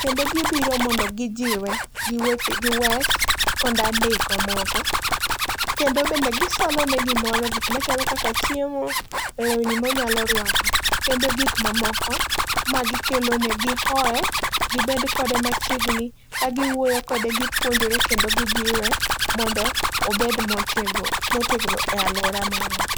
kendo gibiro mondo gijiwe giweche giwes kod andiko moko, kendo bende gisolene gimoro, gik machalo kaka chiemo, lewni monyalo rwako kendo gik mamoko magikelone gihoe gibed kode machiegni, kagiwuoyo kode gipuonjore kendo gijiwe mondo obed motego motegno e alwora marwa.